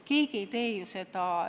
Keegi ei tee ju seda!